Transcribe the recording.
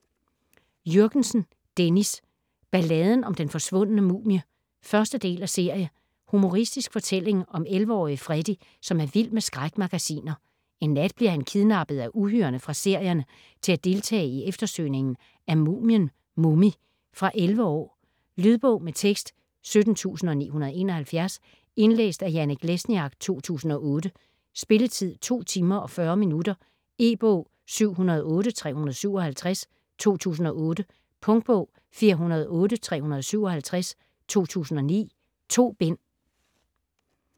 Jürgensen, Dennis: Balladen om den forsvundne mumie 1. del af serie. Humoristisk fortælling om 11-årige Freddy, som er vild med skrækmagasiner. En nat bliver han kidnappet af uhyrerne fra serierne til at deltage i eftersøgningen af mumien Mummy. Fra 11 år. Lydbog med tekst 17971 Indlæst af Janek Lesniak, 2008. Spilletid: 2 timer, 40 minutter. E-bog 708357 2008. Punktbog 408357 2009. 2 bind.